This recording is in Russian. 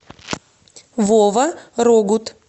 вова рогут